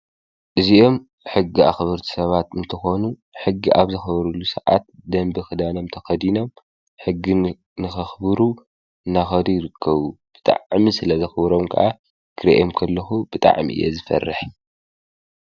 እዚኦም ሕጊ ኣኽበርቲ ሰባት እንትኾኑ ሕጊ ኣብ ዘኽብሩሉ ሰዓት ደንቢ ክዳኖም ተኸዲኖም ሕጊ ንከኽብሩ እናኸዱ ይርከቡ፡፡ ብጣዕሚ ስለዘኽብሮም ካዓ ክሪኦም ከለኹ ብጣዕሚ እየ ዝፈርሕ፡፡